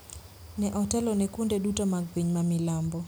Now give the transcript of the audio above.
ne otelo ne kuonde duto mag piny ma milambo,